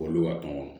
Olu b'a kɔnɔ